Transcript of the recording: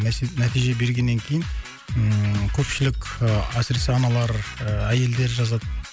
нәтиже бергеннен кейін ыыы көпшілік әсіресе аналар ыыы әйелдер жазады